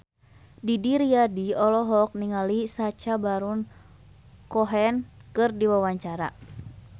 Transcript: Didi Riyadi olohok ningali Sacha Baron Cohen keur diwawancara